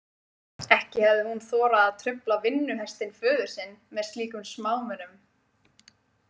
Ekki hefði hún þorað að trufla vinnuhestinn föður sinn með slíkum smámunum.